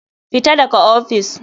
Fita daga ofis.